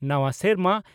ᱱᱟᱣᱟ ᱥᱮᱨᱢᱟ ᱾